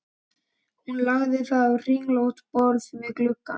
Hún lagði það á kringlótt borð við gluggann.